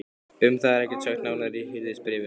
Um það er ekkert sagt nánar í Hirðisbréfinu.